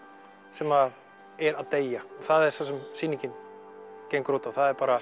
sem er að deyja og það er það sem sýningin gengur út á það er bara